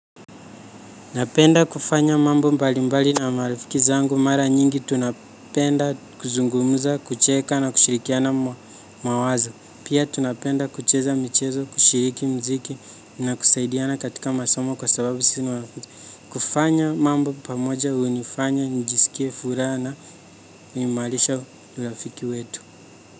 Napenda kufanya mambo mbali mbali na marafiki zangu mara nyingi tunapenda kuzungumuza, kucheka na kushirikiana mawazo. Pia tunapenda kucheza michezo, kushiriki mziki na kusaidiana katika masomo kwa sababu sisi ni wanafunzi. Kufanya mambo pamoja, unifanya, nijiskie, furaha na uimalisha urafiki wetu.